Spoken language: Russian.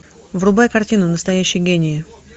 врубай картину настоящие гении